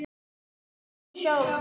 Það sagði hún sjálf.